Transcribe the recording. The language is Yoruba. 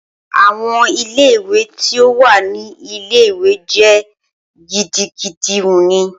Awọn ile-iwe ti o wa ni ile-iwe jẹ gidigidi wuni.